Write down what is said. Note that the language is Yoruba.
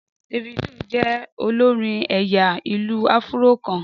Davido jẹ́ olórin ẹ̀yà ìlù-áfúró kan